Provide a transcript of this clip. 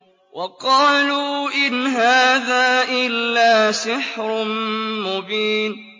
وَقَالُوا إِنْ هَٰذَا إِلَّا سِحْرٌ مُّبِينٌ